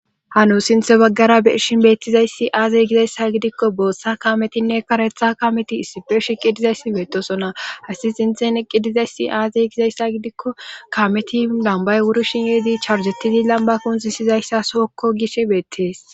hano sinthe baggara beershin beettizayssi aazey gizayssa gidikko boossa kametinne karetha kameti issife shiqidizayssi beetosona hasi sinthen eqqidizayssi aazey gizayssa gidikko kameti lambay wurishin yeedi charzettizi lamba kun sisizayssa sookko gishe beettees